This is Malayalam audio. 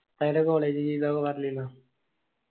ഉസ്താദിന്റെ college ജീവിതം ഒക്കെ പറഞ്ഞിനോ